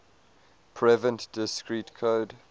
prevent discrete code